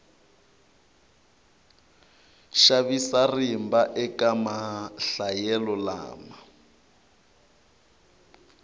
xavisa rimba eka mahlayelo lama